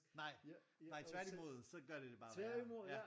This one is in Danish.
Nej nej tvært i mod så gør det det værre ja